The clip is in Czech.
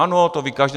Ano, to ví každý.